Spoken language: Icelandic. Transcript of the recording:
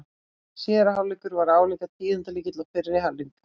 Síðari hálfleikur var álíka tíðindalítill og fyrri hálfleikurinn.